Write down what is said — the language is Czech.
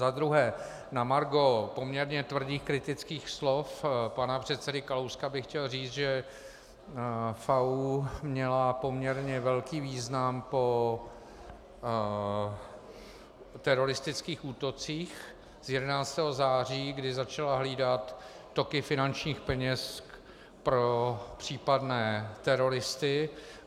Za druhé, na margo poměrně tvrdých kritických slov pana předsedy Kalouska bych chtěl říct, že FAÚ měl poměrně velký význam po teroristických útocích z 11. září, kdy začal hlídat toky finančních peněz pro případné teroristy.